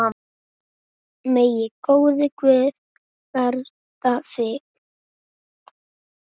Megi góður Guð vernda þig.